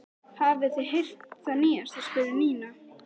Hafið þið heyrt það nýjasta? spurði Nína.